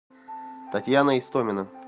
татьяна истомина